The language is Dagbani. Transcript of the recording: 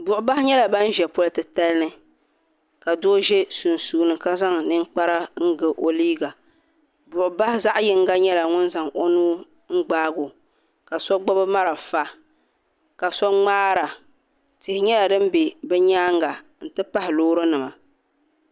Buɣu bahi nyɛla bani zi polo ti tali nima doo sunsuuni ka zaŋ ninkpara ga o liiga buɣu bahi zaɣi yinga nyɛla ŋuni zaŋ o nuun gbaagi o ka so gbubi marafa ka so mŋaara tihi nyɛla dini bɛ bi yɛanga n ti pahi loori nima.